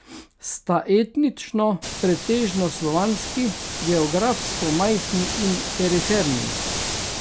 Sta etnično pretežno slovanski, geografsko majhni in periferni.